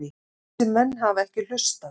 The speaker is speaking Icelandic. Þessir menn hafa ekki hlustað.